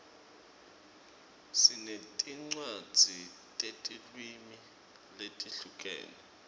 sinetincwadzi tetilwimi letihlukene